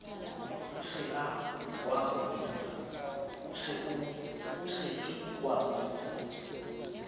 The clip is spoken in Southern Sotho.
o se ke wa mpitsa